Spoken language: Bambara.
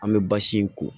An bɛ basi in ko